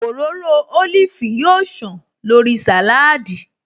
Òróró ólífì yóò ṣàn lórí sàláádì